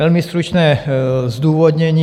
Velmi stručné zdůvodnění.